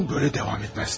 Bu belə davam etməz.